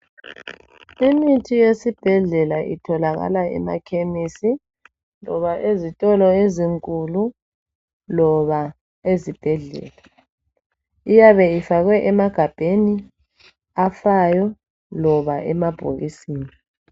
Imithi yesibhedlela itholakala emakhemisi loba ezitolo ezinkulu loba ezibhedlela. Iyabe ifakwe emagabheni afayo loba emabhokisini.